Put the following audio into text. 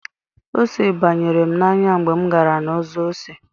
Ose banyere m n'anya mgbe m gara na-ọzọ ose.